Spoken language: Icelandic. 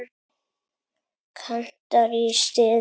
Kantar í stuði.